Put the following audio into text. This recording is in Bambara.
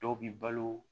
Dɔw bi balo